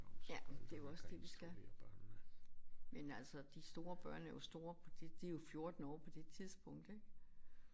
Ja det er jo også det vi skal. Men altså de store børn er jo store på det de jo 14 år på det tidspunkt ik